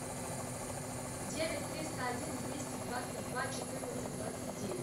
девять триста один двести двадцать два четырнадцать двадцать девять